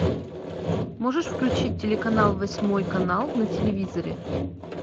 можешь включить телеканал восьмой канал на телевизоре